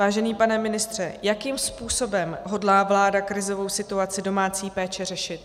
Vážený pane ministře, jakým způsobem hodlá vláda krizovou situaci domácí péče řešit?